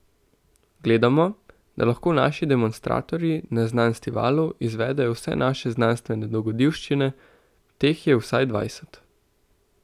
Gledamo, da lahko naši demonstratorji na Znanstivalu izvedejo vse naše znanstvene dogodivščine, teh je vsaj dvajset.